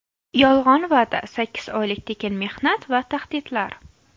Yolg‘on va’da, sakkiz oylik tekin mehnat va tahdidlar.